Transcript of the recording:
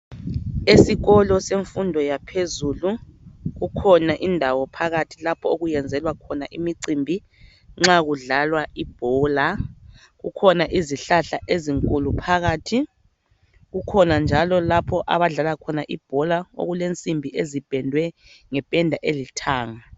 Esikolo semfundo yaphezulu kukhona indawo phakathi okuyenzelwa khona imicimbi nxa kudlalwa ibhola, kukhona izihlahla ezinkulu phakathi kukhona njalo okulabadlala ibhola phakathi okulensimbi ezipendwe ngependa elithanga.